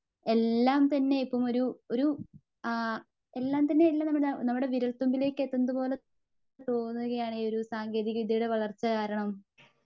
എല്ലാം തന്നെ ഒരു ഇപ്പം ഒരു ഒരു ആ എല്ലാംതന്നെ നമ്മുടെ വിരൽ തുമ്പിലേക്ക് എത്തുന്നത് പോലെ തോന്നുകയാണ് ഈ ഒരു സാങ്കേതിക വിദ്ത്യയുടെ വളർച്ച കാരണം.